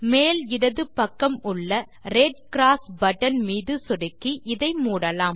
மேல் இடது பக்கம் உள்ள ரெட் க்ராஸ் பட்டன் மீது சொடுக்கி இதை மூடலாம்